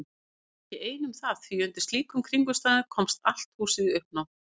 Ég var ekki ein um það því undir slíkum kringumstæðum komst allt húsið í uppnám.